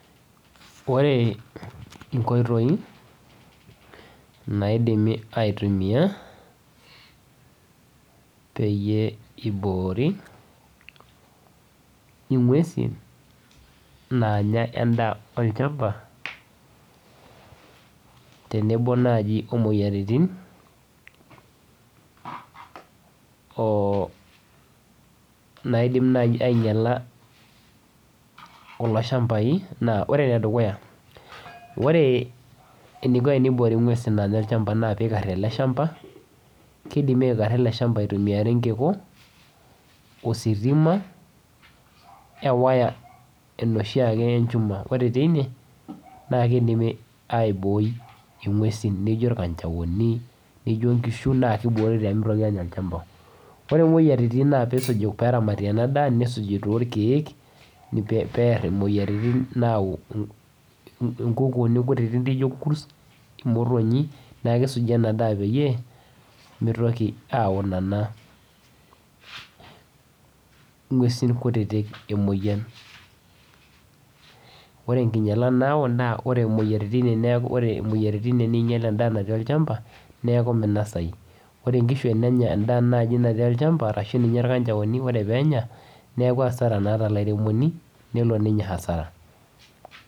Ore inkoitoi naidimi aitumiya peyie eiboori inguesi naanya endaa olchamba tenebo naaji omoyiaritin, naidim ainyala kulo ilshambai edukuya, ore eninko neiboori inguesi pemenya olchamba naa peikari ale ilchamba, keidim aikara ale ilchamba eitumiyari nkiku, ositima, ewaya enoshi ake enchuma, kore teine naa keidimi aibooi inguesin nijo ilkanjaoni, nijo inkishu naa keiboori pemeitoki aanya ilchamba. Ore imoyiaritin naa peesuji peramati ena daa, nesuji too irkeek neyarr imoyiaritin, naau inkukuni kutiti, motonyi naa kesuji ana daa peyie emeitoki aayau ana inguesi kutitik imoyian. Ore enkinyala nayau naa ore imoyiaritin ore netii neinyal endaa olchamba, neaku meinosai, ore enkishu enenya endaa naaji elchamba arashu ninye ilkanjaoni, ore peenya naaku asara naa te lairemoni nelo ninye asara.